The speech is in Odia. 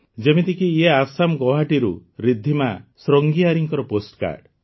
ଯେମିତିକି ଇଏ ଆସାମ ଗୁଆହାଟିରୁ ରିଦ୍ଧିମା ସ୍ୱର୍ଜ୍ଞିୟାରୀଙ୍କ ପୋଷ୍ଟକାର୍ଡ଼